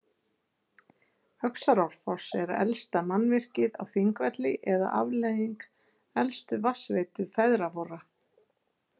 Öxarárfoss er elsta „mannvirkið“ á Þingvelli eða afleiðing elstu vatnsveitu feðra vorra.